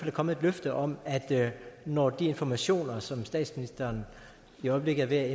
er kommet et løfte om at når de informationer som statsministeren i øjeblikket er